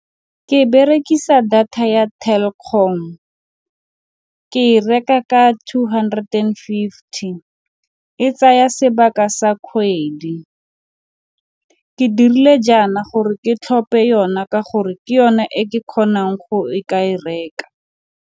Ke berekisa data ya Telkom, ke e reka ka two hundred and fifty, e tsaya sebaka sa kgwedi. Ke dirile jaana gore ke tlhophe yona ka gore ke yone e ke kgonang go ka e reka.